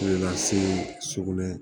lasigi sugunɛ